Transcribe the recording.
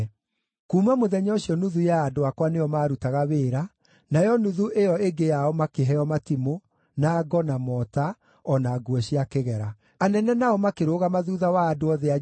Kuuma mũthenya ũcio nuthu ya andũ akwa nĩo maarutaga wĩra nayo nuthu ĩyo ĩngĩ yao makĩheo matimũ, na ngo, na mota, o na nguo cia kĩgera. Anene nao makĩrũgama thuutha wa andũ othe a Juda